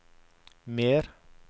mer